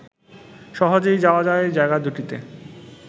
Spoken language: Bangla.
সহজেই যাওয়া যায় জায়গা দুটিতে